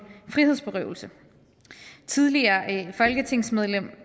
frihedsberøvelse tidligere folketingsmedlem